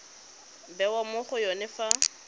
bewa mo go yone fa